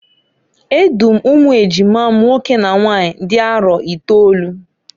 E du m umu ejima m nwoke na nwanyị dị arọ itolu.